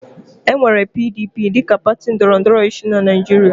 E nwere PDP dịka pati ndọrọ ndọrọ ọchịchị na Naịjirịa.